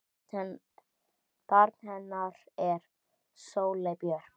Barn hennar er Sóley Björk.